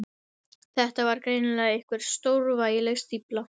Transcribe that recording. Þetta var greinilega einhver stórvægileg stífla.